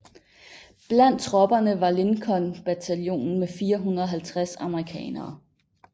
Blandt tropperne var Lincoln Bataljonen med 450 amerikanere